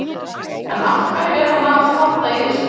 En af hverju er hann að standa í þessu?